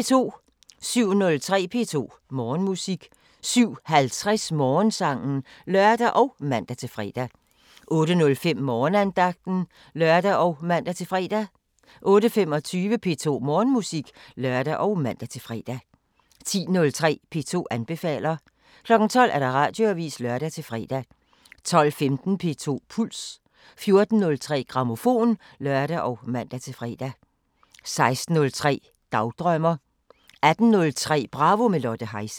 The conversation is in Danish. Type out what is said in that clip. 07:03: P2 Morgenmusik 07:50: Morgensangen (lør og man-fre) 08:05: Morgenandagten (lør og man-fre) 08:25: P2 Morgenmusik (lør og man-fre) 10:03: P2 anbefaler 12:00: Radioavisen (lør-fre) 12:15: P2 Puls 14:03: Grammofon (lør og man-fre) 16:03: Dagdrømmer 18:03: Bravo – med Lotte Heise